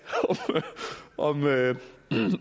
om